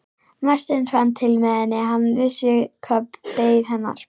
Marteinn fann til með henni, hann vissi hvað beið hennar.